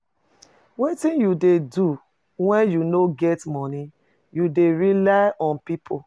Wetin you dey do when you no get monie, you dey rely on people?